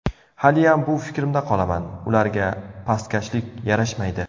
Haliyam bu fikrimda qolaman: ularga pastkashlik yarashmaydi.